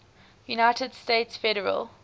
united states federal